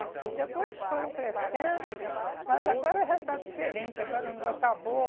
Depois foram crescendo, mas agora já está diferente, agora não, acabou.